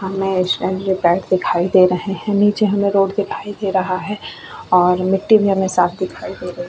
पैर दिखाई दे रहे हैं नीचे हमें रोड दिखाई दे रहा है और मिट्टी भी हमें साथ दिखाई दे रही है।